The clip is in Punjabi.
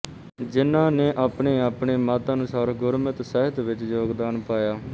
ਜਿੰਨਾ ਨੇ ਆਪਣੇਆਪਣੇ ਮੱਤ ਅਨੁਸਾਰ ਗੁਰਮਤਿ ਸਾਹਿੱਤ ਵਿੱਚ ਯੋਗਦਾਨ ਪਾਇਆ